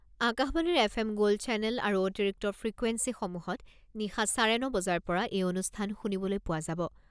আকাশবাণীৰ F M gold channel আৰু অতিৰিক্ত ফ্ৰিকুৱেন্সিসমূহত নিশা চাৰে ন বজাৰ পৰা এই অনুষ্ঠান শুনিবলৈ পোৱা যাব।